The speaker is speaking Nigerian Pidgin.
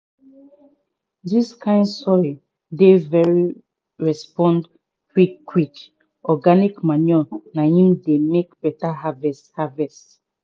dis kind soil dey very respond quick quick organic manure na im dey make beta harvest harvest